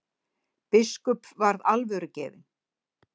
Biskup varð alvörugefinn.